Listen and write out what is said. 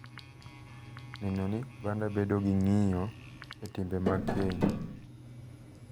neno ni oganda bedo gi ng’iyo e timbe mag keny.